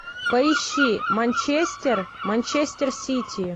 поищи манчестер манчестер сити